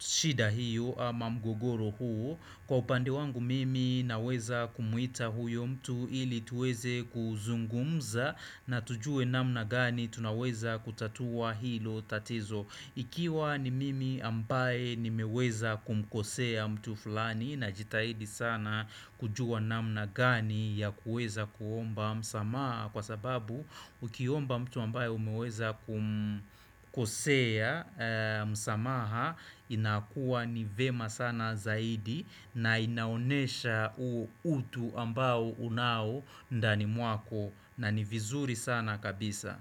shida hiyo ama mgogoro huo. Kwa upande wangu mimi naweza kumwita huyo mtu ili tuweze kuzungumza na tujue namna gani tunaweza kutatua hilo tatizo Ikiwa ni mimi ambaye nimeweza kumkosea mtu fulani najitahidi sana kujua namna gani ya kuweza kuomba msamaha kwa sababu ukiomba mtu ambaye umeweza kumkosea msamaha inakuwa ni vyema sana zaidi na inaonyesha huo utu ambao unao ndani mwako na ni vizuri sana kabisa.